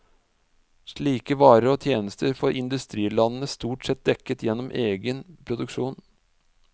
Slike varer og tjenester får industrilandene stort sett dekket gjennom egen produksjon.